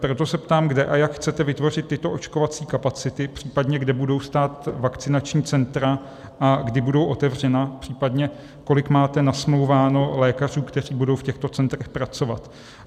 Proto se ptám, kde a jak chcete vytvořit tyto očkovací kapacity, případně kde budou stát vakcinační centra a kdy budou otevřena, případně, kolik máte nasmlouváno lékařů, kteří budou v těchto centrech pracovat.